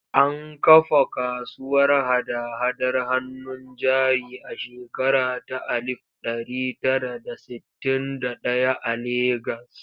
An kafa kasuwar hada-hadar hannun jari a shekara ta alif ɗari tara da sittin da ɗaya a Legas.